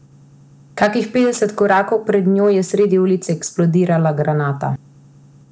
Kakih petdeset korakov pred njo je sredi ulice eksplodirala granata.